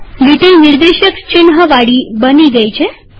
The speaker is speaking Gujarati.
લો લીટી નિર્દેશક ચિન્હવાળી બની ગઈ